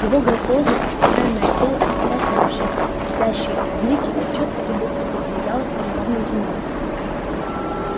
его грациозное обтекаемое тело отбрасывавшее слепящий блики чётко и быстро передвигалось по неровной земле